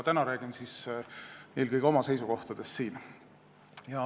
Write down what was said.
Täna räägin eelkõige oma seisukohtadest.